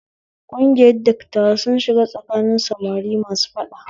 Kungiyar dattawa sun shiga tsakanin samari masu faɗa